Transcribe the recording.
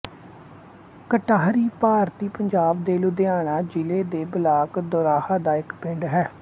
ਕਟਾਹਰੀ ਭਾਰਤੀ ਪੰਜਾਬ ਦੇ ਲੁਧਿਆਣਾ ਜ਼ਿਲ੍ਹੇ ਦੇ ਬਲਾਕ ਦੋਰਾਹਾ ਦਾ ਇੱਕ ਪਿੰਡ ਹੈ